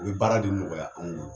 O be baara de nɔgɔya anw bolo.